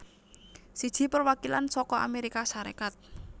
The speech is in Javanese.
Siji Perwakilan saka Amérika Sarékat